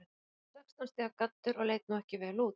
Úti var sextán stiga gaddur og leit nú ekki vel út.